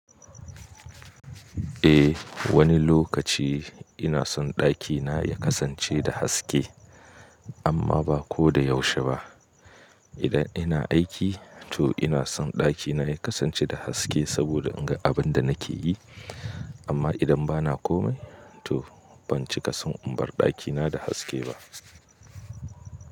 Eh wani lokaci ina son ɗakina ya kasance da haske amma ba ko da yaushe ba. Idan ina aiki to ina son ɗakina ya kasance da haske saboda in ga abin da nake yi amma idan bana komai to ban cika son in bar ɗakina da haske ba.